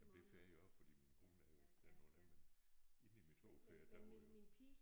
Men det får jeg også fordi min kone er jo den onde men inde i mit hoved får jeg davre jo